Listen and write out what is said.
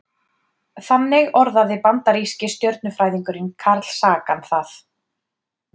Þannig orðaði bandaríski stjörnufræðingurinn Carl Sagan það.